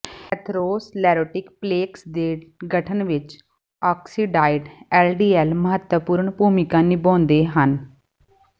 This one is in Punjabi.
ਐਂਥਰੋਸਲੇਰੋਟਿਕ ਪਲੇਕਸ ਦੇ ਗਠਨ ਵਿਚ ਆਕਸੀਡਾਇਡ ਐਲਡੀਐਲ ਮਹੱਤਵਪੂਰਣ ਭੂਮਿਕਾ ਨਿਭਾਉਂਦੇ ਹਨ